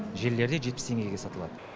желілерде жетпіс теңгеге сатылады